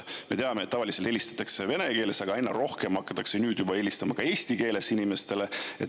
Me teame, et tavaliselt helistatakse vene keeles, aga aina rohkem hakatakse inimestele nüüd juba helistama ka eesti keeles.